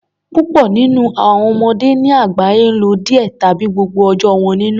Púpọ nínú àwọn ọmọdé ní àgbáyé n lo díẹ tàbí gbogbo ọjọ́ wọn nínú